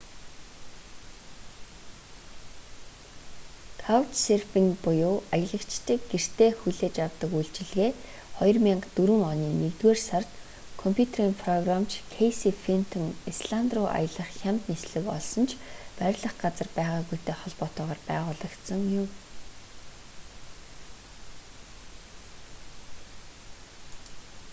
каучсерфинг буюу аялагчдыг гэртээ хүлээж авдаг үйлчилгээ 2004 оны нэгдүгээр сард компьютерийн програмч кэйси фентон исланд руу аялах хямд нислэг олсон ч байрлах газар байгаагүйтэй холбоотойгоор байгуулагдсан юм